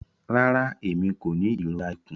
Rara, Emi ko ni irora ikun.